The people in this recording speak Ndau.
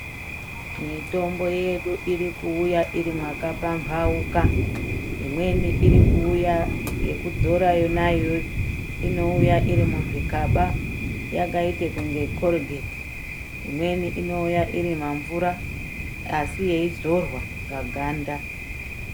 Mitombo yedu irikuwuya iri makapambawuka. Imweni irikuwuya yekudzora yona yoyo inowuya , irimuzvigaba yakayite kunge kholugethi. Imweni inowuya irimamvura asi yeyidzorwa paganda.